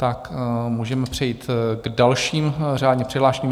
Tak můžeme přejít k dalším řádně přihlášeným.